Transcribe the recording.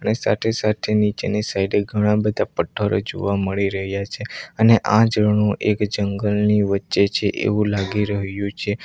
સાઠે-સાઠે નીચેની સાઈડે ઘણા બધા પઠ્ઠરો જોવા મળી રહ્યા છે અને આ ઝરણું એક જંગલની વચ્ચે છે એવું લાગી રહ્યું છે.